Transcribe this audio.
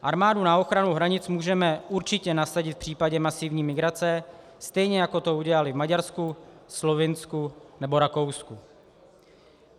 Armádu na ochranu hranic můžeme určitě nasadit v případě masivní migrace, stejně jako to udělali v Maďarsku, Slovinsku nebo Rakousku.